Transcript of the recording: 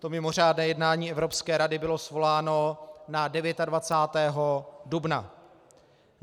To mimořádné jednání Evropské rady bylo svoláno na 29. dubna.